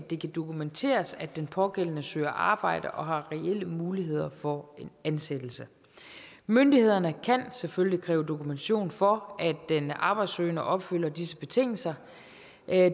det kan dokumenteres at den pågældende søger arbejde og har reelle muligheder for en ansættelse myndighederne kan selvfølgelig kræve dokumentation for at den arbejdssøgende opfylder disse betingelser